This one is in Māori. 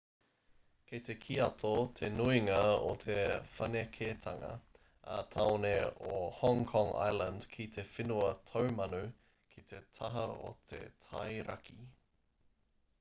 kei te kiato te nuinga o te whanaketanga ā-tāone o hong kong island ki te whenua taumanu ki te taha o te tai raki